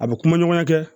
A bɛ kuma ɲɔgɔnya kɛ